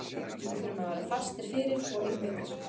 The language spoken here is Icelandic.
Við þurfum að vera fastir fyrir og einbeittir.